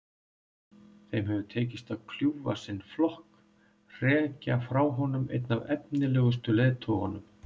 Þeim hefur tekist að kljúfa sinn flokk, hrekja frá honum einn af efnilegustu leiðtogunum.